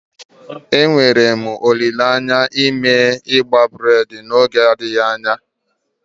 Enwere m olile anya ime igbe breid n'oge adịghị anya.